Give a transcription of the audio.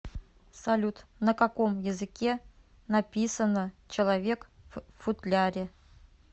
салют на каком языке написано человек в футляре